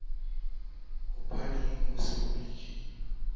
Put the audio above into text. wa tlelapo ya lantjhe b